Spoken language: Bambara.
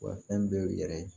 Wa fɛn dɔw yɛrɛ